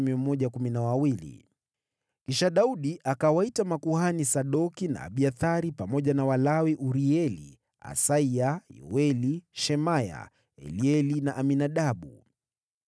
Kisha Daudi akawaita makuhani Sadoki na Abiathari, pamoja na Walawi Urieli, Asaya, Yoeli, Shemaya, Elieli na Aminadabu.